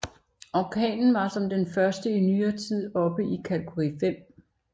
Orkanen var som den første i nyere tid oppe i kategori 5